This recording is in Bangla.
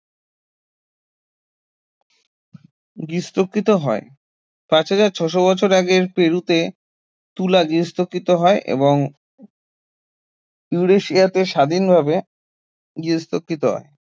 গার্হস্থ্যকৃত হয় পাঁচ হাজার ছয়শ বছর আগের পেরুতে তুলা গার্হস্থ্যকৃত হয় এবং ইউরেশিয়াতে স্বাধীনভাবে গার্হস্থ্যকৃত হয়